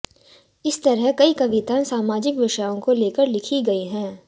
इसी तरह कई कविताएं सामाजिक विषयों को लेकर लिखी गई हैं